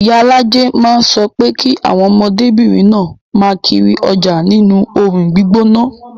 Iyalaje máa ń sọ pé kí àwọn ọmọdébìnrin náà máa kiri ọjà nínú oòrùn gbígbóná